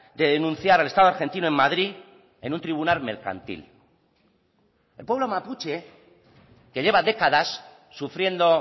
de denunciar al estado argentino en madrid en un tribunal mercantil el pueblo mapuche que lleva décadas sufriendo